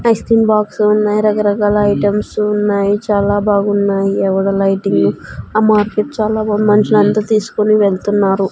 Ice cream box ఉన్నాయి రకరకాల items ఉన్నాయి చాలా బాగున్నాయి ఎవడో లైటింగ్ ఆ మార్కెట్ చాలా బాంది మనుషులంతా తీస్కొని వెళ్తున్నారు.